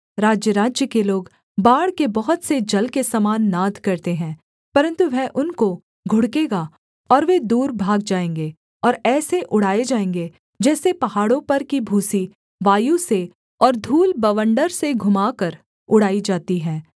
राज्यराज्य के लोग बाढ़ के बहुत से जल के समान नाद करते हैं परन्तु वह उनको घुड़केगा और वे दूर भाग जाएँगे और ऐसे उड़ाए जाएँगे जैसे पहाड़ों पर की भूसी वायु से और धूल बवण्डर से घुमाकर उड़ाई जाती है